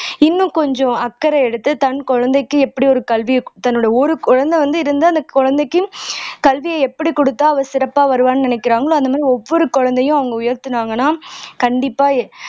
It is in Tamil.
இன்னும் கொஞ்சம் அக்கறை எடுத்து தன் குழந்தைக்கு எப்படி ஒரு கல்வியை தன்னுடைய ஒரு குழந்தை வந்து இருந்து அந்த குழந்தைக்கும் கல்வியை எப்படி குடுத்தா அவ சிறப்பா வருவான்னு நினைக்கிறாங்களோ அந்த மாதிரி ஒவ்வொரு குழந்தையும் அவங்க உயர்த்துனாங்கன்னா கண்டிப்பா